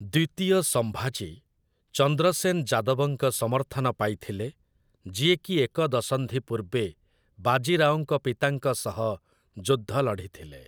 ଦ୍ୱିତୀୟ ସମ୍ଭାଜୀ, ଚନ୍ଦ୍ରସେନ୍ ଯାଦବଙ୍କ ସମର୍ଥନ ପାଇଥିଲେ, ଯିଏକି ଏକ ଦଶନ୍ଧି ପୂର୍ବେ ବାଜି ରାଓଙ୍କ ପିତାଙ୍କ ସହ ଯୁଦ୍ଧ ଲଢ଼ିଥିଲେ ।